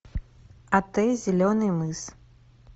отель зеленый мыс